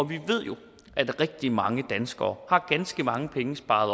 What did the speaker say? vi ved jo at rigtig mange danskere har ganske mange penge sparet